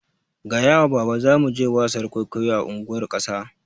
Gaya wa baba zamu je wasar kwaikwayo a unguwar ƙasa